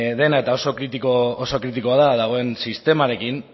dena eta oso kritikoa da dagoen sistemarekin